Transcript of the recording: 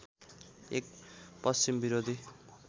एक पश्चिम विरोधी